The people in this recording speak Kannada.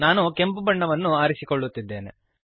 ನಾನು ಕೆಂಪು ಬಣ್ಣವನ್ನು ಆರಿಸಿಕೊಳ್ಳುತ್ತಿದ್ದೇನೆ